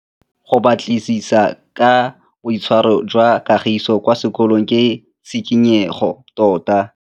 Go batlisisa ka boitshwaro jwa Kagiso kwa sekolong ke tshikinyêgô tota.